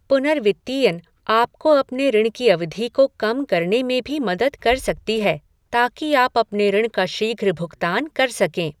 पुनर्वित्तीयन आपको अपने ऋण की अवधि को कम करने में भी मदद कर सकती है, ताकि आप अपने ऋण का शीघ्र भुगतान कर सकें।